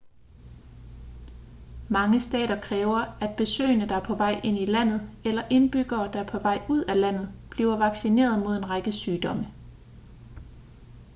mange stater kræver at besøgende der er på vej ind i landet eller indbyggere der er på vej ud af landet bliver vaccineret mod en række sygdomme